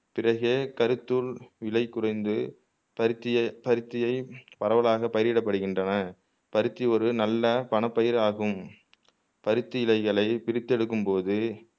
பிறகே விளை குறைந்து பருத்தியை பருத்தியை பரவலாக பயிரிடப்படுகின்றன பருத்தி ஒரு நல்ல பணப்பயிராகும பருத்தி இழைகளை பிரித்து எடுக்கும்போது